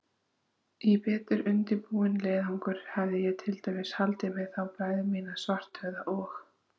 Í betur undirbúinn leiðangur hefði ég til dæmis haldið með þá bræður mína, Svarthöfða og